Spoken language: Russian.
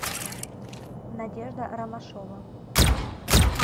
надежда ромашова